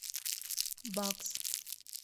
багз